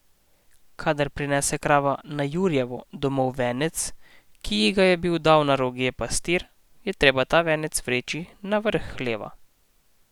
Kadar prinese krava na jurjevo domov venec, ki ji ga je bil dal na roge pastir, je treba ta venec vreči na vrh hleva.